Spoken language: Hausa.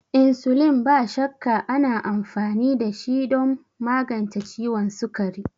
Insulin, ba shakka, ana amfani dashi don magance ciwon sukari.